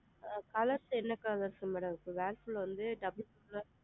Colours என்ன colours madam இருக்குது வந்து double